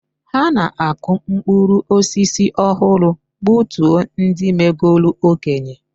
Ha na-akụ mkpụrụ osisi ọhụrụ gbutuo ndị megolu okenye.